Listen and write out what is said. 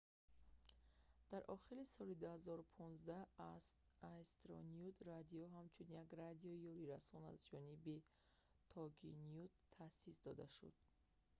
дар охири соли 2015 astronet radio ҳамчун як радиои ёрирасон аз ҷониби toginet таъсис дода шуд